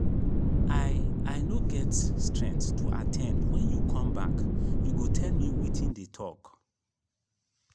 i i no get strength to at ten d wen you come back you go tell me wetin dey talk.